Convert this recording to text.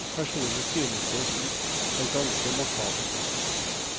Personlig synes jeg slikt er ganske makabert.